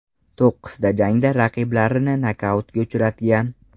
To‘qqizta jangda raqiblarini nokautga uchratgan.